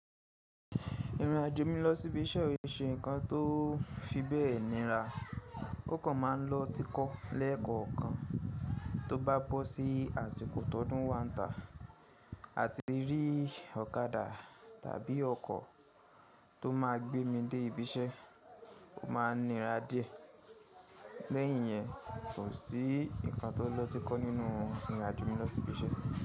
Ìrìnàjò mi lọ sí ibi iṣẹ́ ò ṣe nǹkan tó fi bẹ́ẹ̀ níra. Ó kàn má a ń lọ tikọ́ lẹ́ẹ̀kọ̀ọ̀kan tó bá bọ́ sí àsìkò tọ́dún wáǹta. Àti rí ọ̀kadà tàbí ọkọ̀ tó máa gbé mi dé ibi iṣẹ́, ó máa nira díẹ̀. Lẹ́yìn yẹn, kò sí nǹkan tó lọ́tikọ́ nínú ìrìnàjò mi lọ sí ibi iṣẹ́.